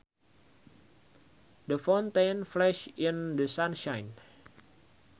The fountain flashed in the sunshine